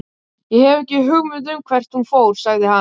Ég hef ekki hugmynd um hvert hún fór, sagði hann.